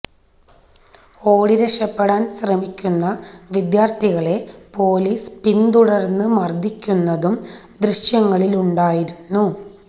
ഓടി രക്ഷപ്പെടാൻ ശ്രമിക്കുന്ന വിദ്യാർത്ഥികളെ പൊലീസ് പിന്തുടർന്ന് മർദ്ദിക്കുന്നതും ദൃശ്യങ്ങളിലുണ്ടായിരുന്നു